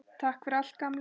Takk fyrir allt, gamli.